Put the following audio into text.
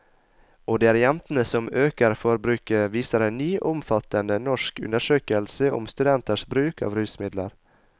Og det er jentene som øker forbruket, viser en ny og omfattende norsk undersøkelse om studenters bruk av rusmidler.